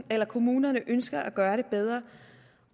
at kommunerne ønsker at gøre det bedre